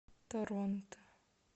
торонто